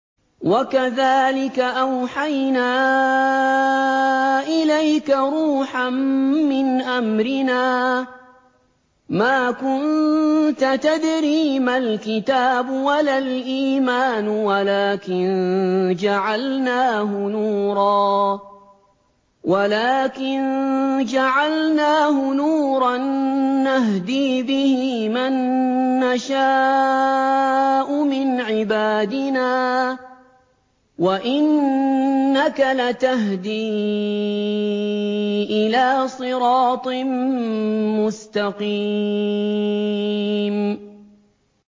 وَكَذَٰلِكَ أَوْحَيْنَا إِلَيْكَ رُوحًا مِّنْ أَمْرِنَا ۚ مَا كُنتَ تَدْرِي مَا الْكِتَابُ وَلَا الْإِيمَانُ وَلَٰكِن جَعَلْنَاهُ نُورًا نَّهْدِي بِهِ مَن نَّشَاءُ مِنْ عِبَادِنَا ۚ وَإِنَّكَ لَتَهْدِي إِلَىٰ صِرَاطٍ مُّسْتَقِيمٍ